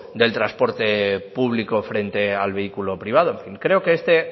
del transporte público frente al vehículo privado en fin creo que este